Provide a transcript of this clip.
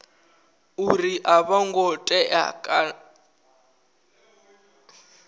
uri a vho ngo tea